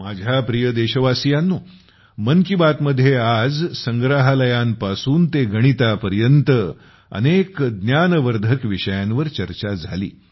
माझ्या प्रिय देशवासियांनो मन की बात मध्ये आज Museum संग्रहालयांपासून ते गणितापर्यंत अनेक ज्ञानवर्धक विषयांवर चर्चा झाली